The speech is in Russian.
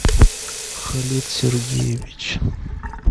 халид сергеевич